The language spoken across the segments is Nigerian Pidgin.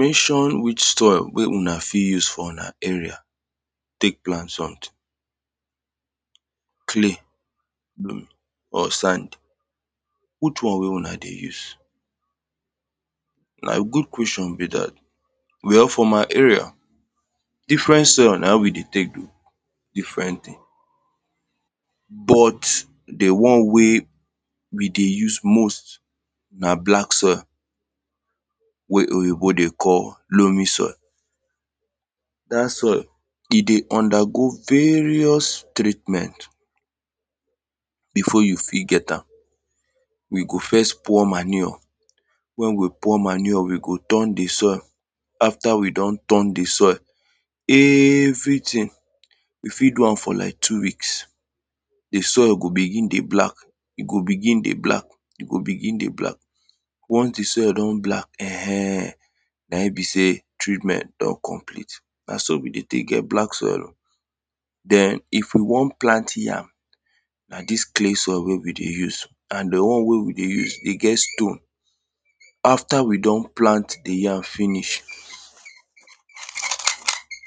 Mention which soil wey una fit use for una area tek plant something. Clay or sandy, which one wey una dey use? Na good question be dat. Well, for my area, different soil na we dey tek do different thing... but, the one wey we dey use most na black soil. wey Oyinbo dey call loamy soil. Dat soil, e dey undergo various treatment. Before you fit get am, we go first pour manure. When we pour manure, we go turn the soil, after we don turn the soil, everything, we fit do am for lak two weeks. The soil go begin dey black, e go begin dey black, e go begin dey black. Once the soil don black, um Na e be say, treatment don complete, na so we dey tek get black soil o. Then, if we wan plant yam, na dis clay soil wey we dey use, and the one wey we dey use, e get stone. After we don plant the yam finish,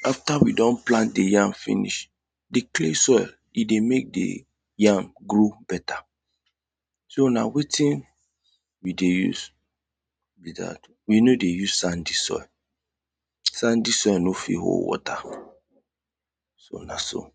after we don plant the yam finish, the clay soil, e dey mek the yam grow beta. So, na wetin we dey use be dat. We no dey use sandy soil. Sandy soil no fit hold water. So, na so.